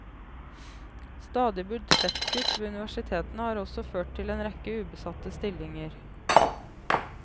Stadige budsjettkutt ved universitetene har også ført til en rekke ubesatte stillinger.